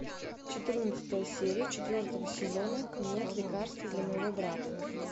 четырнадцатая серия четвертого сезона нет лекарства для моего брата